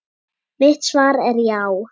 Mitt svar er já.